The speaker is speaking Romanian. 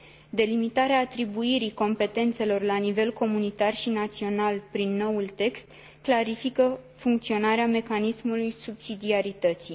Delimitarea atribuirii competențelor la nivel comunitar și național prin noul text clarifică funcționarea mecanismului subsidiarității.